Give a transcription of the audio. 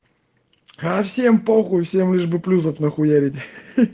да всем похуй все мне лишь бы плюсов нахуярить